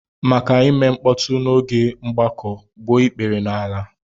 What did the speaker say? Maka ime mkpọtụ n'oge mgbakọ, gbuo ikpere n'ala!